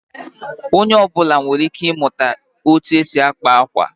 Onye ọ bụla nwere ike ịmụta otú e si akpa akwa